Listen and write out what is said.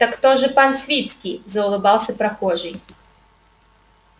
так то же пан свицкий заулыбался прохожий